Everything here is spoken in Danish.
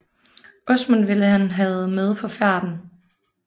Åsmund ville han havde med på færden